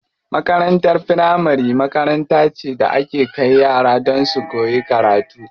Makarantar firamari makaranta ce da ake kai yara don su koyi karatu.